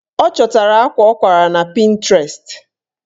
Ọ chọtara akwa ọ kwara na Pịntrest